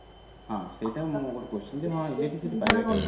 ସେଇଆ ମୋର ଗୋଟେ question ଏଚଏନ electric city ଟା ପାଇବା ଆମେ କୋଉଠୁ